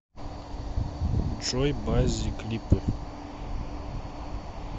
джой баззи клипы